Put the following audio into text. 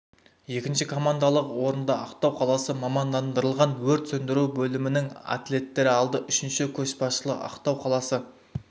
екінші командалық орынды ақтау қаласы мамандандырылған өрт сөндіру бөлімінің атлеттері алды үшінші көшбасшылық ақтау қаласы